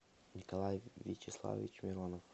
николай вячеславович миронов